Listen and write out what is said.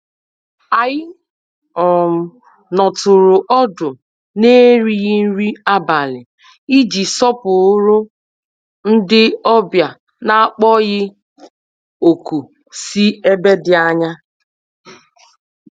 Anyị um nọtụrụ ọdụ n'erighị nri abalị iji sọpụrụ ndị obja n'akpọghị òkù sí ebe dị ányá.